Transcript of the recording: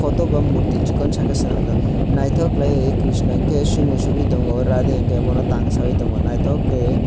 poto ba morthi sikon sa ke senamjak naitok kelaioe krishna hingke somo soboi tongo radhe hingke tang saiye tongo naitok ke.